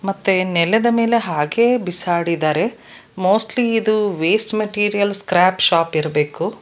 ಮತ್ತೆ ನೆಲದ ಮೇಲೆ ಹಾಗೆಯೇ ಬಿಸಾಡಿದಾರೆ ಮೋಸ್ಟ್ಲಿ ಇದು ವೇಸ್ಟ್ ಮೆಟೀರಿಯಲ್ ಸ್ಕ್ರಾಪ್ ಶಾಪ್ ಇರಬೇಕು.